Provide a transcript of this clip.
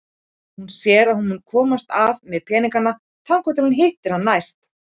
Hún sér að hún mun komast af með peningana þangað til hún hittir hann næst.